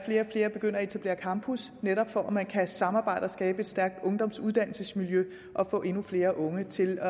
flere begynder at etablere campus netop for at man kan samarbejde og skabe et stærkt ungdomsuddannelsesmiljø og få endnu flere unge til